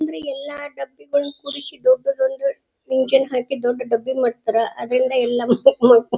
ಅಂದ್ರೆ ಎಲ್ಲ ಡಬ್ಬಿಗಳು ಕೂರಿಸಿ ದೊಡ್ಡ ಒಂದು ಎಂಜಿನ್ ಹಾಕಿ ದೊಡ್ಡ ಡಬ್ಬಿ ಮಾಡ್ತಾರಾ ಅದ್ರಿಂದ ಎಲ್ಲ ಮಮಕ್ --